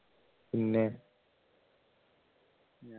പിന്നെ